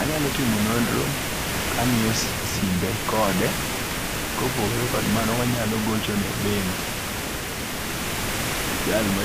Anyalo timo nondro kangi'yo simbe kode, kopogore kod mano wanyalo gochone bengi' jal ma